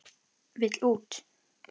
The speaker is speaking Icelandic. Vill út.